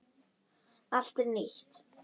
Allt er nýtt.